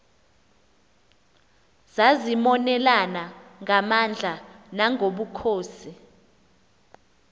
zazimonelana ngamandla nangobukhosi